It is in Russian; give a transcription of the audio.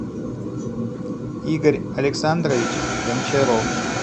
игорь александрович гончаров